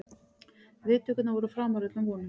Viðtökurnar voru framar öllum vonum